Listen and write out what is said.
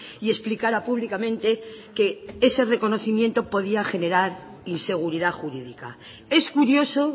y explicara públicamente que ese reconocimiento podía generar inseguridad jurídica es curioso